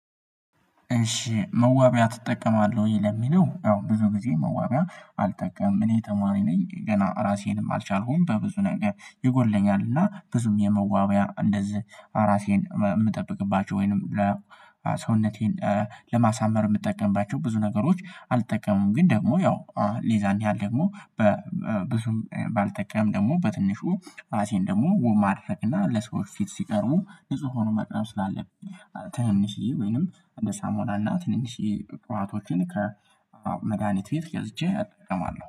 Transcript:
እሺ መዋቢያ ትጠቀማለህ ወይ? ለሚለው አዎ ብዙ ጊዜ መዋቢያ አልጠቀምም እኔ ተማሪ ነኝ ገና ራሴንም አልቻልኩም በብዙ ነገር ይጎድለኛል እና ብዙም የመዋቢያ እንደዚህ ራሴን የምጠብቅባቸው ወይንም ለሰውነቴን ለማሳመር የምጠቀምባቸው ብዙ ነገሮች አልጠቀምም ግን ደግሞ ያው የዛን ያህል ደግሞ ብዙም ባልጠቀምም ደግሞ በትንሹ ራሴን ደግሞ ውብ ማድረግ እና ለሰዎች ፊት ሲቀርቡ ንጹህ ሆኖ መቅረብ ስላለብኝ ትንንሽዬ ወይንም እንደ ሳሙና እና ትንንሽዬ ቅባቶችን ከመድሃኒት ቤት ገዝቼ አጠቀማለሁ